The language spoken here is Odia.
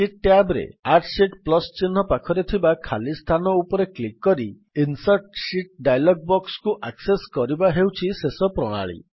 ଶୀଟ୍ ଟ୍ୟାବ୍ ରେ ଆଡ୍ ଶୀତ୍ ପ୍ଲସ୍ ଚିହ୍ନ ପାଖରେ ଥିବା ଖାଲି ସ୍ଥାନ ଉପରେ କ୍ଲିକ୍ କରି ଇନସର୍ଟ ଶୀତ୍ ଡାୟଲଗ୍ ବକ୍ସକୁ ଆକ୍ସେସ୍ କରିବା ହେଉଛି ଶେଷ ପ୍ରଣାଳୀ